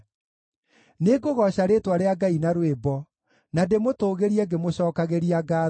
Nĩngũgooca rĩĩtwa rĩa Ngai na rwĩmbo, na ndĩmũtũũgĩrie ngĩmũcookagĩria ngaatho.